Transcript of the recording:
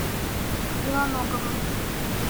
белоноговым